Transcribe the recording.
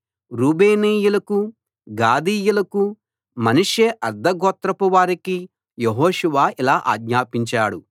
రూబేనీయులకు గాదీయులకు మనష్షే అర్థగోత్రపువారికి యెహోషువ ఇలా ఆజ్ఞాపించాడు